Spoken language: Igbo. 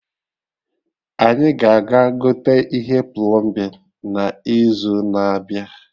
Anyị ga aga gote ihe plọmbin na izu na-abịa